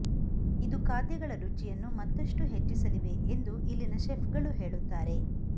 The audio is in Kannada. ಇದು ಖಾದ್ಯಗಳ ರುಚಿಯನ್ನು ಮತ್ತಷ್ಟು ಹೆಚ್ಚಿಸಲಿವೆ ಎಂದು ಇಲ್ಲಿನ ಶೆಫ್ಗಳು ಹೇಳುತ್ತಾರೆ